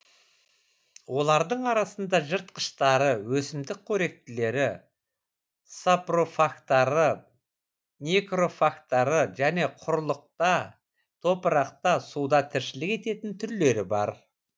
олардың арасында жыртқыштары өсімдік қоректілері сапрофагтары некрофагтары және құрлықта топырақта суда тіршілік ететін түрлері бар